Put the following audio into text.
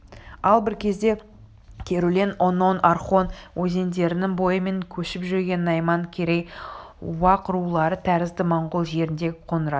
ал бір кезде керулен онон орхон өзендерінің бойымен көшіп жүрген найман керей уақ рулары тәрізді монғол жеріндегі қоңырат